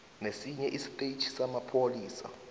nesinye istetjhi samapholisa